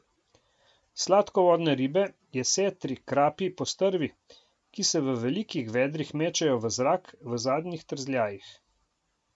Sladkovodne ribe, jesetri, krapi, postrvi, ki se v velikih vedrih mečejo v zrak, v zadnjih trzljajih.